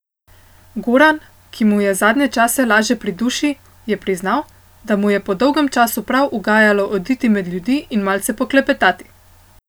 Goran, ki mu je zadnje čase laže pri duši, je priznal, da mu je po dolgem času prav ugajalo oditi med ljudi in malce poklepetati.